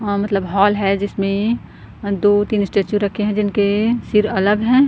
अ मतलब हाॅल है जिसमें दो -तीन स्टैचू रखे है जिनके सिर अलग हैं।